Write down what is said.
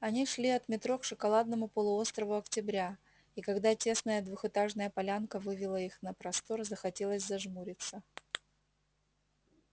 они шли от метро к шоколадному полуострову октября и когда тесная двухэтажная полянка вывела их на простор захотелось зажмуриться